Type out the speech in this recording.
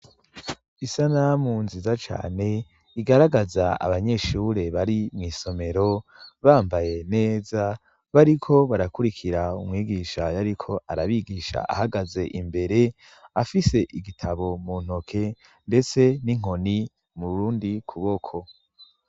Isanamu nziza cane igaragaza abanyeshure bari mw'isomero bambaye neza bariko barakurikira umwigisha yariko arabigisha ahagaze imbere afise igitabo mu ntoke ndetse n'inkoni mu kundi kuboko.